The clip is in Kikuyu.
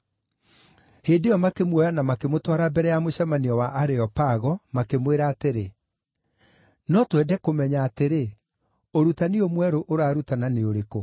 Hĩndĩ ĩyo makĩmuoya na makĩmũtwara mbere ya mũcemanio wa Areopago, makĩmwĩra atĩrĩ, “No twende kũmenya atĩrĩ, ũrutani ũyũ mwerũ ũrarutana nĩ ũrĩkũ?